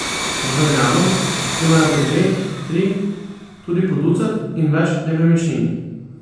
Državljanom, ki imajo po dve, tri, tudi po ducat in več nepremičnin.